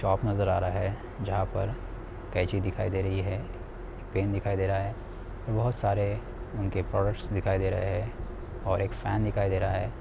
Shop नजर आ रहा है जहां पर कैंची दिखाई दे रही है| पेन दिखाई दे रहा है और बहुत सारे उनके प्रोडक्ट्स दिखाई दे रहे है और एक फैन दिखाई दे रहा है।